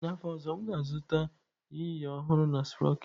N'afọ ọzọ m ga-azụta yinye ọhụrụ na sproketị.